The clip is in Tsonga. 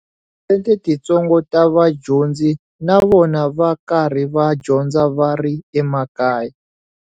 Tiphesente titsongo ta vadyondzi na vona va karhi va dyondza va ri emakaya.